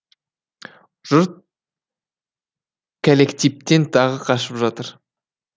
жұрт кәллектиптен тағы қашып жатыр